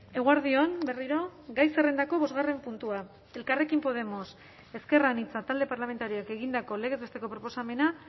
eguerdi on berriro gai zerrendako bosgarren puntua elkarrekin podemos ezker anitza talde parlamentarioak egindako legez besteko proposamena